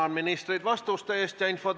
Tänan ministreid vastuste eest!